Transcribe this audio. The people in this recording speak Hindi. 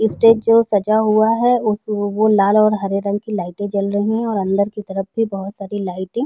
वो जो स्ट्रेज जो सजा हुआ है वो लाल और हरे रंग की लाइटे भी जल रही हैं और अंदर की तरफ भी बहोत सारी लाइटिंग --